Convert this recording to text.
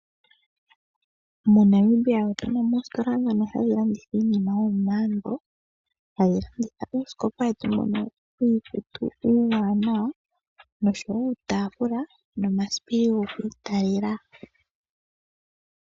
MoNamibia otu na mo oositola ndhono ha dhi landitha iinima yomomaambo, ha dhi landitha uusikopa wetu mbono wiikutu uuwanawa nosho wo uutaafula nomasipili goku italela.